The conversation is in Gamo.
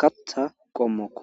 katha qomoko